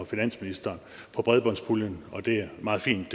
finansministeren om bredbåndspuljen og det er meget fint